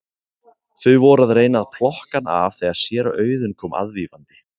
Þau voru að reyna að plokka hann af þegar séra Auðunn kom aðvífandi.